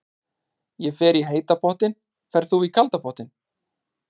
Ég fer í heita pottinn. Ferð þú í kalda pottinn?